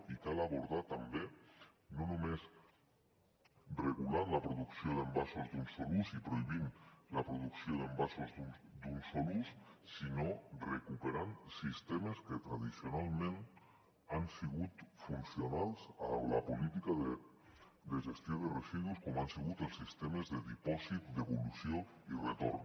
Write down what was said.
i cal abordar ho no només regulant la producció d’envasos d’un sol ús i prohibint la producció d’envasos d’un sol ús sinó recuperant sistemes que tradicionalment han sigut funcionals per a la política de gestió de residus com han sigut els sistemes de dipòsit devolució i retorn